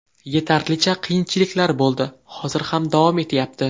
Yetarlicha qiyinchiliklar bo‘ldi, hozir ham davom etyapti.